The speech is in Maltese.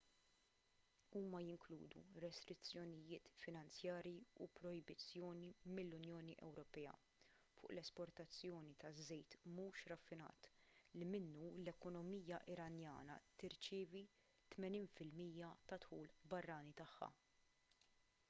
huma jinkludu restrizzjonijiet finanzjarji u projbizzjoni mill-unjoni ewropea fuq l-esportazzjoni taż-żejt mhux raffinat li minnu l-ekonomija iranjana tirċievi 80 % tad-dħul barrani tagħha